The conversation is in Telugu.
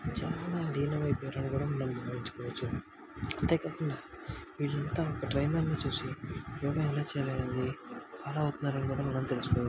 చాలా లీనం అయిపోయి మనం గమనించుకోవచ్చు అంతే కాకుండా వీళ్లంతా ఒక ట్రైనర్ ని చూసి యోగ ఎలా చెయ్యాలో అన్నది ఫాలో మనం తెలుసుకోవ--